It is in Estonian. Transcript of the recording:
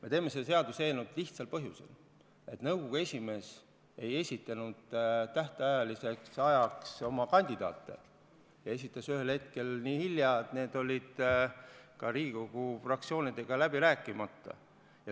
Me teeme seda seaduseelnõu lihtsal põhjusel: nõukogu esimees ei esitanud tähtajaks oma kandidaate, ta esitas need nii hilja, need olid ka Riigikogu fraktsioonidega läbi rääkimata.